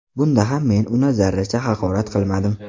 Bunda ham men uni zarracha haqorat qilmadim.